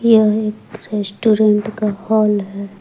यह एक रेस्टोरेंट का हाल है।